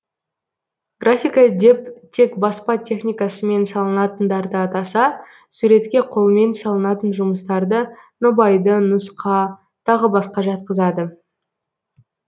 графика деп тек баспа техникасымен салынатындарды атаса суретке қолмен салынатын жұмыстарды нобайды нұсқа тағы басқа жатқызады